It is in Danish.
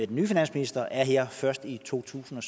den nye finansminister er her først i totusinde